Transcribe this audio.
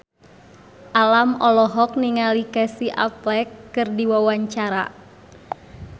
Alam olohok ningali Casey Affleck keur diwawancara